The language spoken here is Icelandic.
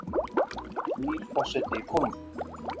Nýr forseti í Kólumbíu